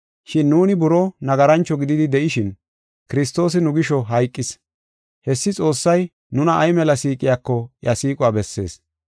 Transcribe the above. Shin nuuni buroo nagarancho gididi de7ishin, Kiristoosi nu gisho hayqis. Hessi Xoossay nuna ay mela siiqiyako iya siiquwa bessees.